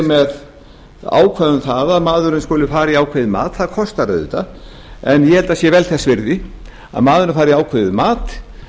með ákvæði um það maðurinn skuli fara í ákveðið mat það kostar auðvitað en ég held að það sé vel þess virði að maðurinn fari í ákveðið mat